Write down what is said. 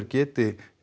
geti